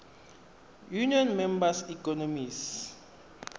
union member economies